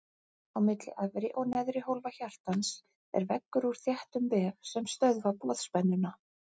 Á milli efri og neðri hólfa hjartans er veggur úr þéttum vef sem stöðva boðspennuna.